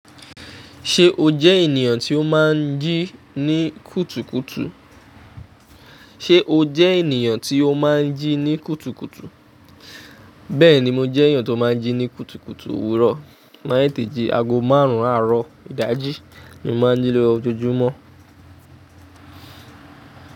Ṣé o jẹ́ ènìyàn tí ó máa ń jí ní kùtùkùtù? Ṣé o jẹ́ ènìyàn tí ó máa ń jí ní kùtùkùtù? Bẹ́ẹ̀ni mo jẹ́ ènìyàn tó máa ń jí ní kùtùkùtù. Òwúrọ̀, n mà tẹteji, ago márùn-ún, àárọ̀, ìdájí ni mo máa ń jí lójoojúmọ́.